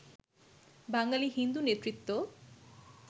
বাঙালি হিন্দু নেতৃত্ব